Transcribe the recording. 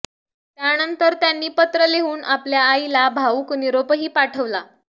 त्यानंतर त्यांनी पत्र लिहून आपल्या आईला भावूक निरोपही पाठवला